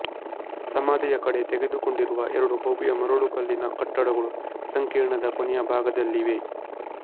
ಸಮಾಧಿಯ ಕಡೆ ತೆರೆದುಕೊಂಡಿರುವ ಎರಡು ಭವ್ಯ ಮರಳುಕಲ್ಲಿನ ಕಟ್ಟಡಗಳು ಸಂಕೀರ್ಣದ ಕೊನೆಯ ಭಾಗದಲ್ಲಿವೆ